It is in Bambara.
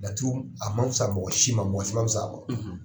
Laturu a ma fusa mɔgɔ si ma, mɔgɔ si ma fusa a ma;